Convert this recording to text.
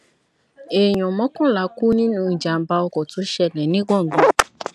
èèyàn mọkànlá kú nínú ìjàmbá ọkọ tó ṣẹlẹ ní gbọngàn